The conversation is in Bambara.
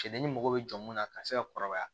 Cɛdennin mago bɛ jɔ munna ka se ka kɔrɔbaya